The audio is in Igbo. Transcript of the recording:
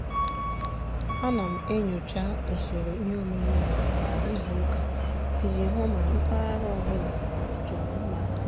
a na m enyocha usoro iheomume m kwa izuụka ị ji hụ ma mpaghara ọbụla ọ chọrọ mgbazi.